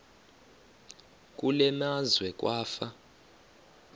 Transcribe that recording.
kule meazwe kwafa